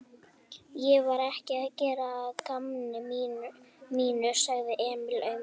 Ég var ekki að gera að gamni mínu, sagði Emil aumur.